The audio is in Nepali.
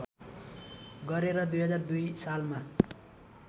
गरे र २००२ सालमा